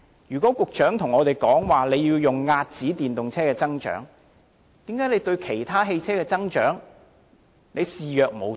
如果局長說要遏止電動車的增長，為何他對其他汽車的增長卻視若無睹？